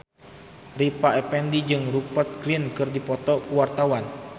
Rita Effendy jeung Rupert Grin keur dipoto ku wartawan